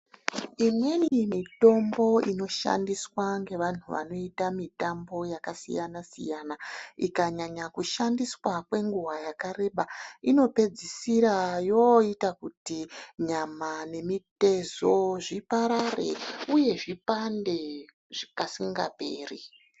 Imweni mitombo inoshandiswa ngevantu vanoita mitambo yakasiyana siyana ikanyanya kushandiswa kwenguwa yakareba inopedzisira yoita kuti nyama nemitezo zviparare uye zvipande kasinga peri.